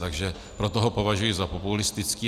Takže proto ho považuji za populistický.